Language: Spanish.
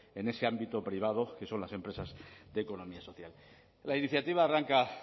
en ese ámbito privado que son las empresas de economía social la iniciativa arranca